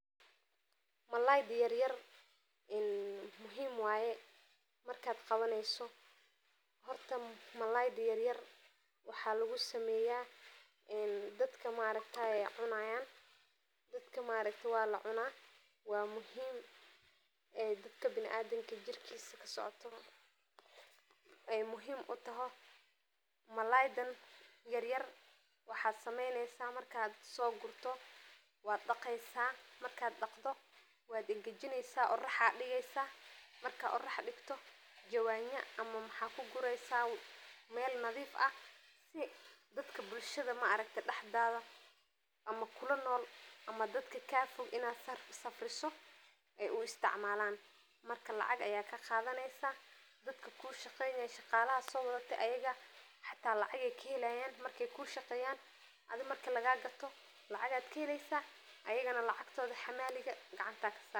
Malayda yaryar muhiim waye markad qawaneysa oo waxa lugusameya walacuna wana muhiim jirka biniadanka. Malayda waxa sameyni marka soqawato wad qalajineysa kadib jawan aya kuangajineysa oo qoroxda digeysa kadib dadka kadow ad usafriso oo lacag ayad kaheli oo dadka kushaqeyo marka gado lacag aya kaheli ayagana lacag ayad gacanta kasari.